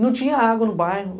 Não tinha água no bairro.